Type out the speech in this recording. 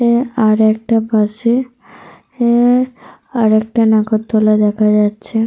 আর একটা পাশে অ্যা আর একটা নাগরদোলা দেখা যাচ্ছে।